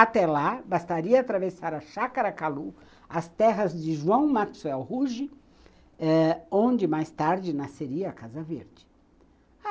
Até lá bastaria atravessar a Chácara Calú, as terras de João Maxwell Ruge, eh onde mais tarde nasceria a Casa Verde.